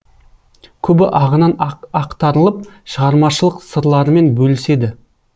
көбі ағынан ақтарылып шығармашылық сырларымен бөліседі